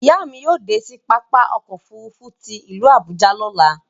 Iya mi yóò de sí pápá ọkọ̀ òfurufú tí ilu Abuja lọ̀là